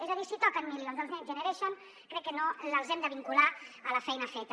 és a dir si toquen milions dels next generation crec que no els hem de vincular a la feina feta